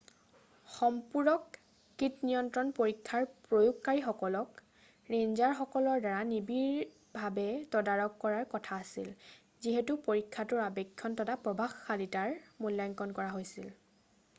সম্পূৰক কীটনিয়ন্ত্ৰণ পৰীক্ষাৰ প্ৰয়োগকাৰীসকলক ৰেঞ্জাৰসকলৰ দ্বাৰা নিবিড়ভাবে তদাৰক কৰাৰ কথা আছিল যিহেতু পৰীক্ষাটোৰ আবেক্ষণ তথা প্ৰভাৱশীলতাৰ মূল্যাংকণ কৰা হৈছিল